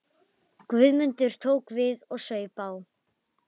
Guðmundur tók við og saup á.